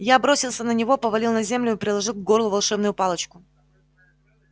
я бросился на него повалил на землю и приложил к горлу волшебную палочку